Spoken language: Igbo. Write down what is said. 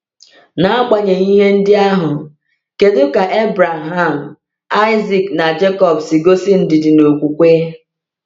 N’agbanyeghị ihe ndị ahụ, kedu ka Abraham, Isaac, na Jekọb si gosi ndidi na okwukwe?